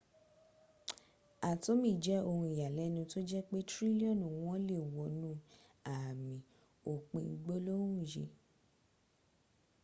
atomi je oun iyalenu to je pe trilioni won le wonu ami opin gbolohun yi